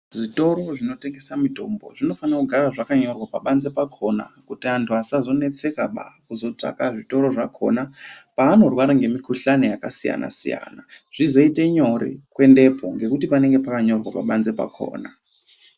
Zvitoro zvinotengesa mitombo zvinofanira Kunge zvakanyorwa pabanze pakona kuitira kuti muntu asazonetseka kutsvaka zvikoro zvakona panorwara mikuhlani yakasiyana siyana zvizoenda nyore kuendepo nekuti panenge pakanyorwa pabanze pakona.